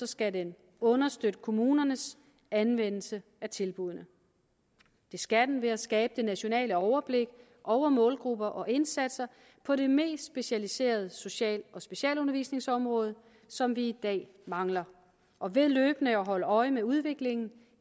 skal den understøtte kommunernes anvendelse af tilbuddene det skal den ved at skabe det nationale overblik over målgrupper og indsatser på de mest specialiserede social og specialundervisningsområder som vi i dag mangler og ved løbende at holde øje med udviklingen